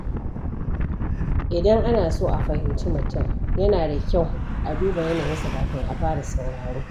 Idan ana so a fahimci mutum, yana da kyau a duba yanayinsa kafin a fara sauraro.